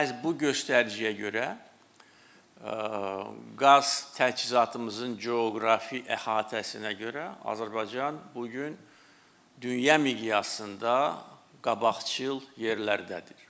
Və məhz bu göstəriciyə görə qaz təchizatımızın coğrafi əhatəsinə görə Azərbaycan bu gün dünya miqyasında qabaqcıl yerlərdədir.